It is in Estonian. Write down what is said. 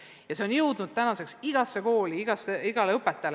Ja see on tänaseks jõudnud igasse kooli, iga õpetajani.